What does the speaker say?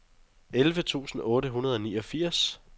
elleve tusind otte hundrede og niogfirs